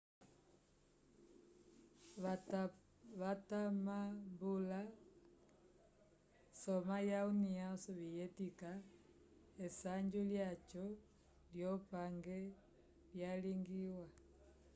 watamambula soma ya união sovietica esanju lyaco yo pange yalingiwa